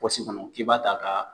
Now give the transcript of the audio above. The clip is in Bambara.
kɔnɔ k'i b'a ta ka